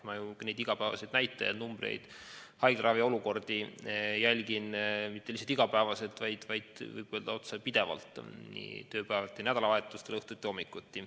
Ma jälgin igapäevaseid näitajaid ja haiglaravi olukorda mitte lihtsalt iga päev, vaid võin öelda, et lausa pidevalt, nii tööpäevadel kui ka nädalavahetustel, õhtuti ja hommikuti.